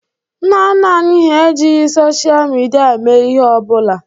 Nna nna anyị hà ejighi sochịa midia mee ihe ọ bụla.